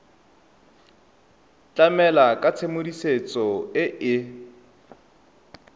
tlamela ka tshedimosetso e e